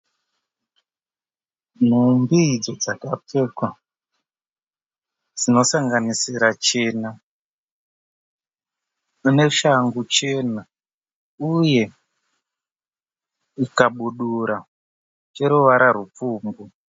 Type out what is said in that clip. Nhumbi idzo dzakapfekwa dzinosanganisira chena. Mune shangu chena uye chikabudura cheruvara rupfumbu.